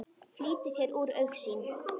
Flýtir sér úr augsýn.